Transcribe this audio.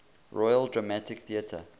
royal dramatic theatre